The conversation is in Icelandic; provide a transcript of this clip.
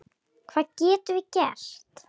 Hvað getum við gert?